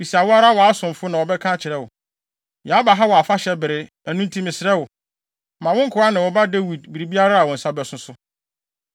Bisa wo ara wʼasomfo na wɔbɛka akyerɛ wo. Yɛaba ha wɔ afahyɛ bere, ɛno nti, mesrɛ wo, ma wo nkoa ne wo ba Dawid biribiara a wo nsa bɛso so.”